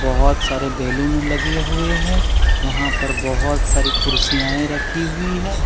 बहुत सारे बैलून लगे हुए है यहां पर बहुत सारी कुर्सियायें रखी हुई हैं।